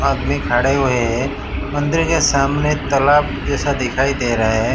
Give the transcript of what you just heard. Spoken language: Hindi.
आदमी खड़े हुए हैं मंदिर के सामने तलाब जैसा दिखाई दे रहा है।